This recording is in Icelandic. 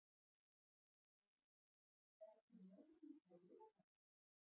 Louise, ferð þú með okkur á laugardaginn?